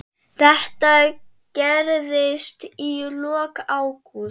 Þetta gerðist í lok ágúst.